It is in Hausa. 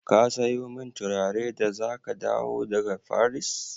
Ka sayo min turare da za ka dawo daga Faris?